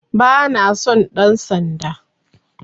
Bana son ɗan sanda